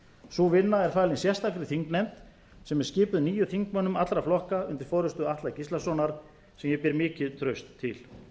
sú vinna er falin sérstakri þingnefnd sem er skipuð níu þingmönnum allra flokka undir forustu atla gíslasonar sem ég ber mikið traust til það